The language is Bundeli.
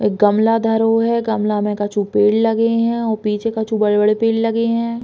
एक गमला धरो है। गमला मे कछु पेड़ लगे हैं और पीछे कछु बड़े-बड़े पेड़ लगे हैं।